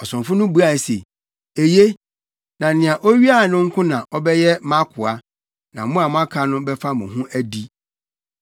Ɔsomfo no buae se, “Eye, na nea owiae no nko na ɔbɛyɛ mʼakoa; na mo a moaka no bɛfa mo ho adi.”